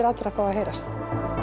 allra fái að heyrast